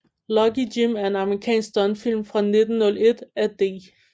Lucky Jim er en amerikansk stumfilm fra 1909 af D